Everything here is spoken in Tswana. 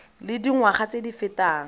le dingwaga tse di fetang